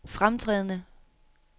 fremtrædende